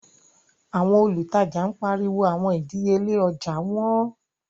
Awọn olùtajà n pariwo awọn idiyele ojạ wọn